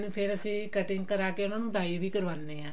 ਫ਼ੇਰ ਅਸੀਂ cutting ਕਰਵਾ ਕਿ ਉਹਨਾ ਨੂੰ dye ਵੀ ਕਰਵਾਉਣੇ ਹਾਂ